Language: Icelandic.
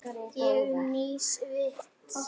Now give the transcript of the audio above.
Og nýs vits.